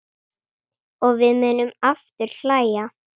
Og við munum aftur hlæja.